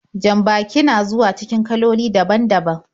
Jan-baki ya zuwa cikin kaloli daban-daban.